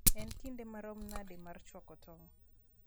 en kinde marom nade mar chwako tong